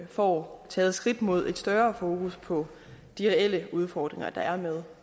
får taget skridt mod et større fokus på de reelle udfordringer der er med